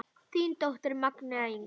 Þín dóttir, Magnea Inga.